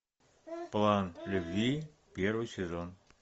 план любви первый сезон